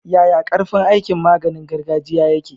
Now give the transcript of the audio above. Yaya karfin aikin maganiin gargajiya yake?